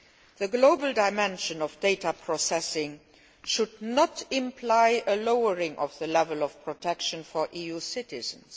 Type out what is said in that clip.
The global dimension of data processing should not, however, imply a lowering of the level of protection for EU citizens.